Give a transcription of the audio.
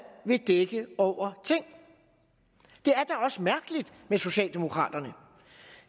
vil dække over ting det er da også mærkeligt med socialdemokraterne